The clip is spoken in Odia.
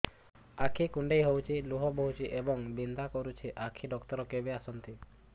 ଆଖି କୁଣ୍ଡେଇ ହେଉଛି ଲୁହ ବହୁଛି ଏବଂ ବିନ୍ଧା କରୁଛି ଆଖି ଡକ୍ଟର କେବେ ଆସନ୍ତି